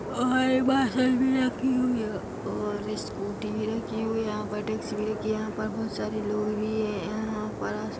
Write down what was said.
बस भी रखी हुई है और स्कूटी भी रखी हुई है यहां पर टैक्सी भी रखी हुई है यहां पर बहुत सारे लोग भी है यहां पर--